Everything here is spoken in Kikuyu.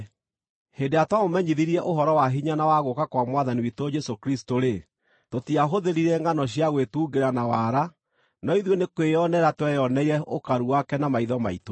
Hĩndĩ ĩrĩa twamũmenyithirie ũhoro wa hinya na wa gũũka kwa Mwathani witũ Jesũ Kristũ-rĩ, tũtiahũthĩrire ngʼano cia gwĩtungĩra na wara, no ithuĩ nĩ kwĩonera tweyoneire ũkaru wake na maitho maitũ.